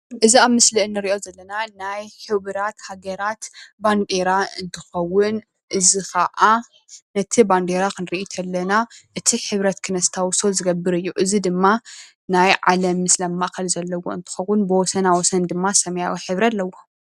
እዚ ኣብ ምስሊ ንሪኦ ዘለና ናይ ሕቡራት ሃገራት ባንዴራ እንትከዉን እዚ ከዓ ነቲ ባንዴራ ክንርኢ ከለና እቲ ሕብረት ክነስታዉሶ ዝገብር እዩ። እዚ ድማ ናይ ዓለም ምስሊ ኣብ ማእኸሉ ዘለዎ እንትከዉን ብወሰና ወሰን ሰመያዊ ሕብሪ ኣለዎ።